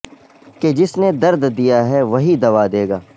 کہ جس نے درد دیا ہے وہی دوا دے گا